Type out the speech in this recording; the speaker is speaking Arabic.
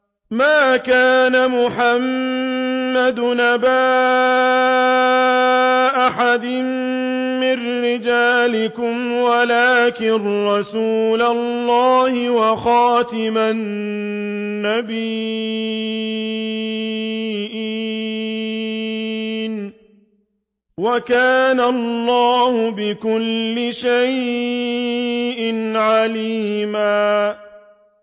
مَّا كَانَ مُحَمَّدٌ أَبَا أَحَدٍ مِّن رِّجَالِكُمْ وَلَٰكِن رَّسُولَ اللَّهِ وَخَاتَمَ النَّبِيِّينَ ۗ وَكَانَ اللَّهُ بِكُلِّ شَيْءٍ عَلِيمًا